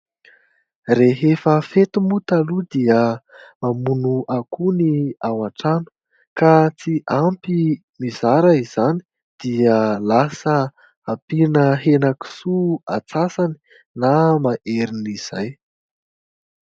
Rehefa fety moa taloha dia mamono akoho ny ao an-trano. Ka tsy ampy mizara izany dia ampiana henankisoa atsasany na maherin'izay.